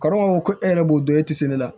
Kɔrɔ ko e yɛrɛ b'o dɔn e tɛ se ne la